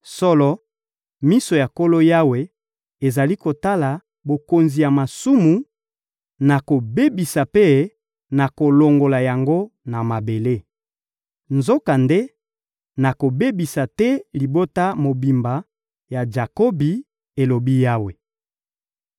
Solo, miso ya Nkolo Yawe ezali kotala bokonzi ya masumu; nakobebisa mpe nakolongola yango na mabele. Nzokande, nakobebisa te libota mobimba ya Jakobi,» elobi Yawe.